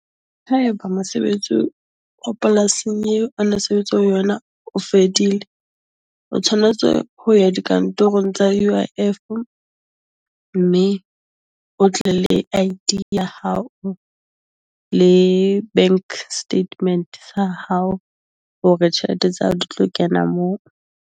Haeba mosebetsi o polasing yeo a na sebetsa ho yona o fedile, o tshwanetse ho ya dikantorong tsa UIF, mme o tle le ID ya hao le bank statement sa hao, hore tjhelete tsa hao di tlo kena moo.